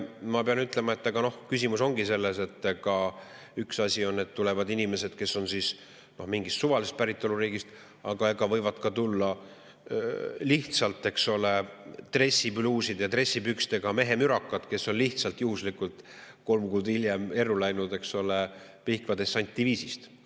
Ma pean ütlema, et küsimus ongi selles, et üks asi on, et tulevad inimesed, kes on pärit mingist suvalisest riigist, aga võivad ka tulla lihtsalt, eks ole, dressipluuside, dressipükstega mehemürakad, kes on lihtsalt juhuslikult kolm kuud erru läinud Pihkva dessantdiviisist.